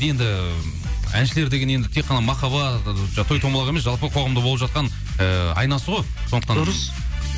енді әншілер деген енді так қана махаббат жаңағы той тоймалақ емес жалпы қоғамда болып жатқан ііі айнасы ғой сондықтан дұрыс